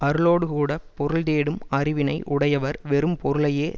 அருளோடுகூடப் பொருள்தேடும் அறிவினை உடையவர் வெறும் பொருளையே